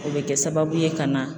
O bɛ kɛ sababu ye ka na.